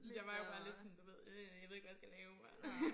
Jeg var jo bare lidt sådan du ved øh jeg ved ikke hvad jeg skal lave